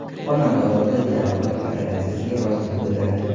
Xonanda Ozoda jarrohlik operatsiyasiga rozilik bildirdi.